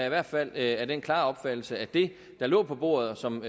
i hvert fald af den klare opfattelse at det der lå på bordet og som